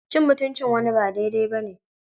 Cin mutuncin wani ba daidai ba ne.